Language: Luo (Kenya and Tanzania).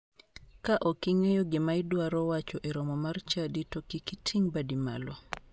Ka ok ing'eyo gima idwaro wacho e romo mar chadi to kik iting' badi malo.